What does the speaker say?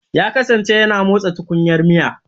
Ya kasance yana motsa tukunyar miya.